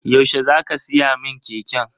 Yaushe za ka siya min keken?